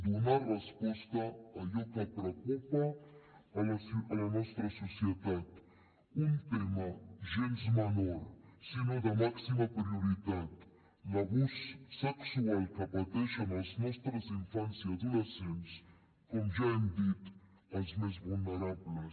donar resposta a allò que preocupa la nostra societat un tema gens menor sinó de màxima prioritat l’abús sexual que pateixen els nostres infants i adolescents com ja hem dit els més vulnerables